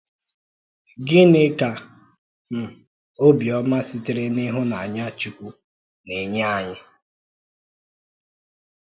Gínị́ ka um ọ̀bịọ́mà sị̀tèrè n’ìhụ́nànyà Chúkwú na-ènye ànyị?